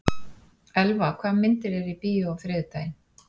Elva, hvaða myndir eru í bíó á þriðjudaginn?